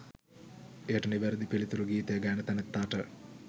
එයට නිවැරැදි පිළිතුරු ගීතය ගයන තැනැත්තාට